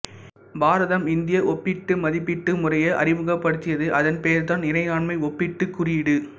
பாரதம் India ஒப்பீட்டு மதிப்பீட்டு முறையை அறிமுகப்படுத்தியது அதன் பெயர் தான் இறையாண்மை ஒப்பீட்டு குறியீடு